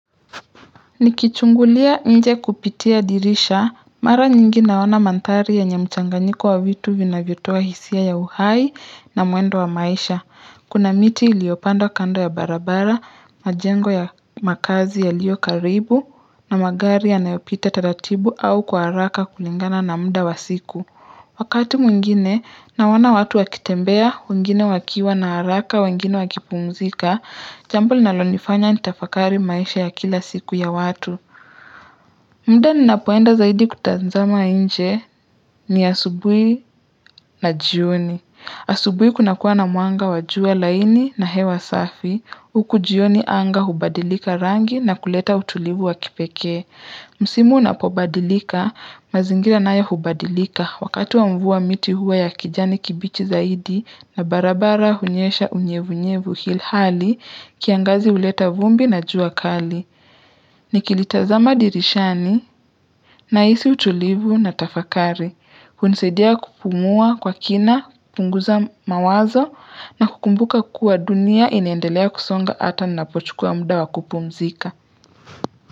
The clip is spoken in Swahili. Nikichungulia nje kupitia dirisha, mara nyingi naona mandhari yenye mchanganyiko wa vitu vinavyotoa hisia ya uhai na mwendo wa maisha. Kuna miti iliyopandwa kando ya barabara, majengo ya makazi yaliyo karibu, na magari yanayopita taratibu au kwa haraka kulingana na muda wa siku. Wakati mwingine, nawaona watu wakitembea, wengine wakiwa na haraka, wengine wakipumzika, jambo linalonifanya nitafakari maisha ya kila siku ya watu. Muda ninapoenda zaidi kutazama nje ni asubuhi na jioni. Asubuhi kuna kuwa na mwanga wa jua laini na hewa safi, huku jioni anga hubadilika rangi na kuleta utulivu wa kipekee. Msimu unapobadilika, mazingira nayo hubadilika wakati wa mvua miti huwa ya kijani kibichi zaidi na barabara hunyesha unyevunyevu hilhali kiangazi uleta vumbi na jua kali. Nikitazama dirishani nahisi utulivu na tafakari. Hunisaidia kupumua kwa kina, punguza mawazo na kukumbuka kuwa dunia inaendelea kusonga hata ninapochukua muda wa kupumzika.